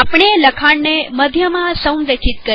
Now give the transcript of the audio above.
આપણે લખાણને મધ્યમા સંરેખિત કરીએ